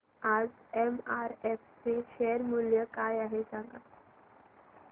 आज एमआरएफ चे शेअर मूल्य काय आहे सांगा